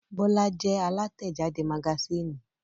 Bọ́lá jẹ́ alátẹ̀jáde magasínì.